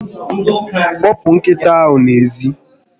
Kpopu nkita ahu ezi